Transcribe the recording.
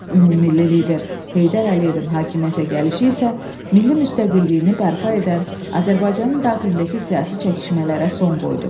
Ümummilli lider Heydər Əliyevin hakimiyyətə gəlişi isə milli müstəqilliyini bərpa edən, Azərbaycanın daxilindəki siyasi çəkişmələrə son qoydu.